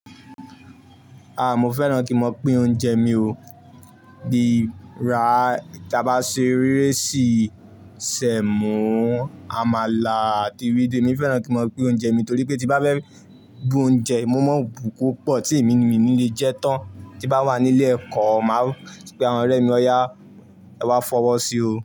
A! Mo fẹ́ràn kí n máa pín oúnjẹ mi o. Bí ra-- tí a bá ṣe íréṣì, sẹ̀mọ́, àmàlà àti ewédú. Emi fẹ́ràn kí n máa pín oúnjẹ mi, torí pé tí bá fẹ́ bu oúnjẹ, mo maa bu kopọ̀ tí èmi nìyí mi ni lè jẹ́ tán. Tí bá wà ní ilé ẹ̀kọ́, máa pé àwọn ọ̀rẹ́ mi, ọ̀yà, ẹ wá fọwọ́ sí o.